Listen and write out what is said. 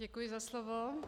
Děkuji za slovo.